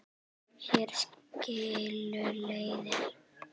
Hér skilur leiðir.